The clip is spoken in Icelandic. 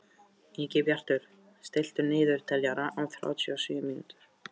Ingibjartur, stilltu niðurteljara á þrjátíu og sjö mínútur.